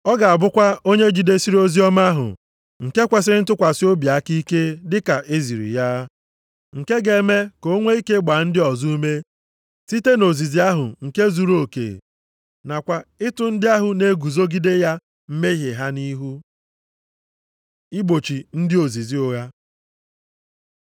Ọ ga-abụkwa onye jidesiri oziọma ahụ nke kwesiri ntụkwasị obi aka ike dịka eziri ya. Nke ga-eme ka o nwe ike gbaa ndị ọzọ ume site na ozizi ahụ nke zuruoke, nakwa ịtụ ndị ahụ na-eguzogide ya mmehie ha nʼihu. Igbochi ndị ozizi ụgha